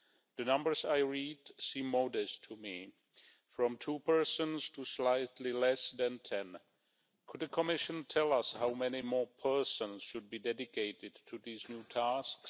The numbers I read seem modest to me from two persons to slightly less than ten. Could the Commission tell us how many more persons should be allocated to these new tasks?